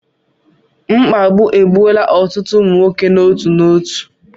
Mkpagbu egbuola otụtụ ụmụ nwoke n'eto eto